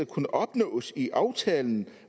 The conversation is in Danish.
kunne opnås i aftalen